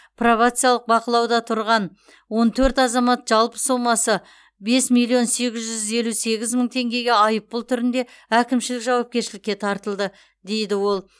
пробациялық бақылауда тұрған он төрт азамат жалпы сомасы бес милион сегіз жүз елу сегіз мың теңгеге айыппұл түрінде әкімшілік жауапкершілікке тартылды дейді ол